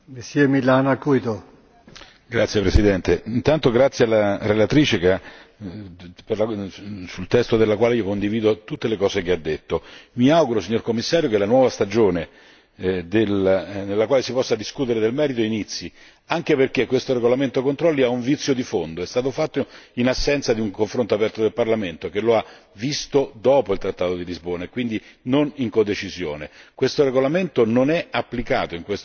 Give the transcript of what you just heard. Signor Presidente, onorevoli colleghi, intanto grazie alla relatrice, sul cui testo condivido tutte le cose che ha detto. Mi auguro, signor Commissario, che la nuova stagione in cui si possa discutere del merito inizi, anche perché questo regolamento sui controlli ha un vizio di fondo è stato fatto in assenza di un confronto aperto con il Parlamento, che lo ha visto dopo il trattato di Lisbona e quindi non in codecisione. Questo regolamento non è applicato in questo momento.